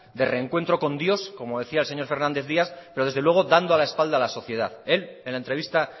de reencuentro con dios como decía el señor fernández díaz pero desde luego dando la espalda a la sociedad él en la entrevista